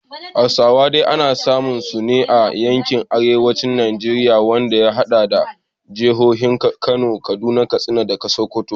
Hausawa dai ana samun su ne a yankin arewacin Najeriya, wanda ya hada da jihohin Kano, Kaduna, Katsina, da Sokoto.